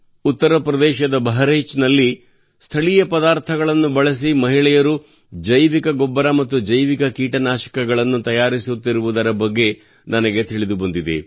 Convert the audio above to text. ಉತ್ತರಪ್ರದೇಶದ ಬಹರಾಯಿಚ್ನಲ್ಲಿ ಸ್ಥಳೀಯ ಪದಾರ್ಥಗಳನ್ನು ಬಳಸಿ ಮಹಿಳೆಯರು ಜೈವಿಕ ಗೊಬ್ಬರ ಮತ್ತು ಜೈವಿಕ ಕೀಟನಾಶಕಗಳನ್ನು ತಯಾರಿಸುತ್ತಿರುವುದರ ಬಗ್ಗೆ ನನಗೆ ತಿಳಿದು ಬಂದಿದೆ